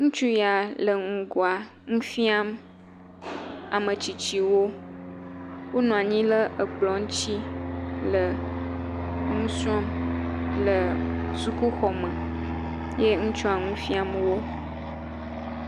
Ŋutsu ya le ŋgɔa nu fiam ame tsitsiwo. Wonɔ anyi ɖ ekplɔ ŋutsi le nu srɔ̃m le sukuxɔme ye ŋutsua nu fiam wo.